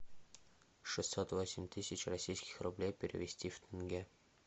шестьсот восемь тысяч российских рублей перевести в тенге